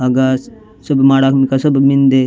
अगाश सुभ माडक उनका सब मिन्दे।